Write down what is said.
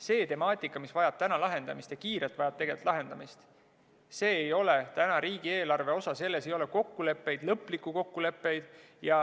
See temaatika, mis vajab täna lahendamist – ja kiirelt vajab lahendamist –, see ei ole täna riigieelarve osa, selles ei ole kokkuleppeid, lõplikke kokkuleppeid.